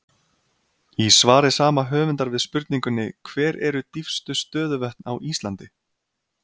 Í svari sama höfundar við spurningunni Hver eru dýpstu stöðuvötn á Íslandi?